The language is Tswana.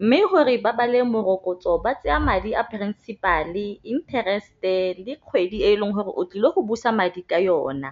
Mme gore ba bale morokotso ba tseya madi a principal-e, interest-e le kgwedi e leng gore o tlile go busa madi ka yona.